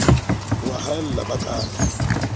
o a haella ba ke